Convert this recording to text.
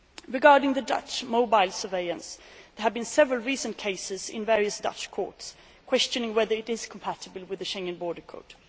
Regarding the Dutch mobile surveillance, there have been several recent cases in various Dutch courts, questioning whether it is compatible with the Schengen Borders Code.